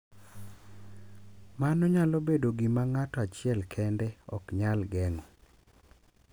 Mano nyalo bedo gima ng’ato achiel kende ok nyal geng’o.